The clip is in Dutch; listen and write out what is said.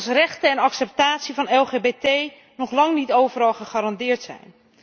Als rechten en acceptatie van LGBT nog lang niet overal gegarandeerd zijn?